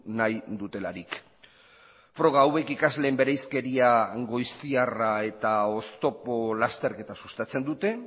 nahi dutelarik froga hauek ikasleen bereizkeria goiztiarra eta oztopo lasterketa sustatzen dute